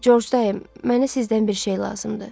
Corc dayı, mənə sizdən bir şey lazımdır.